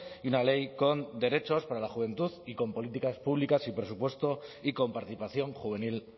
y una ley con derechos para la juventud y con políticas públicas y presupuesto y con participación juvenil